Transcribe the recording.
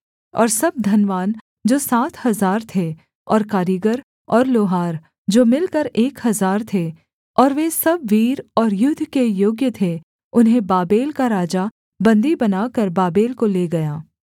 और सब धनवान जो सात हजार थे और कारीगर और लोहार जो मिलकर एक हजार थे और वे सब वीर और युद्ध के योग्य थे उन्हें बाबेल का राजा बन्दी बनाकर बाबेल को ले गया